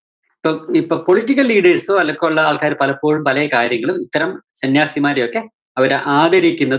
ഇപ്പം ഇപ്പോ political leaders ഓ പോലുള്ള ആള്‍ക്കാര് പലപ്പോഴും പല കാര്യങ്ങളും ഇത്തരം സന്യസിമാരെയൊക്കെ അവര് ആദരിക്കുന്ന